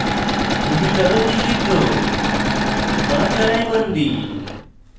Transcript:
পশুচারণ নিষিদ্ধ ban charai bandi